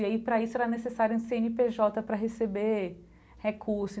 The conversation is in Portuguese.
E aí, para isso, era necessário um Cê Ene Pê Jota para receber recurso.